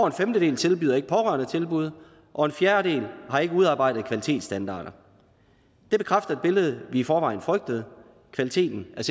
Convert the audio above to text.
en femtedel tilbyder ikke pårørendetilbud og en fjerdedel har ikke udarbejdet kvalitetsstandarder det bekræfter et billede vi i forvejen frygtede kvaliteten er